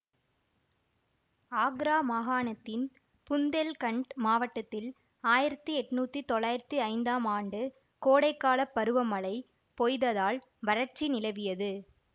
ஆக்ரா மாகாணத்தின் புந்தேல்கண்ட் மாவட்டத்தில் ஆயிரத்தி எட்ணூத்தி தொள்ளாயிரத்தி ஐந்தாம் ஆண்டு கோடைக்காலப் பருவ மழை பொய்த்ததால் வறட்சி நிலவியது